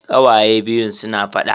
Kawaye biyun suna faɗa.